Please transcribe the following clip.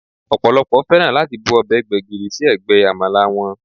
Ọ̀pọ̀lọ́pọ̀ fẹ́ràn láti bu ọbẹ̀ gbégìrì sí ẹ̀gbẹ́ Àmàlà wọn